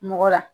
Mɔgɔ la